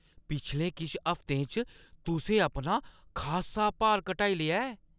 पिछले किश हफ्तें च तुसें अपना खासा भार घटाई लेआ ऐ!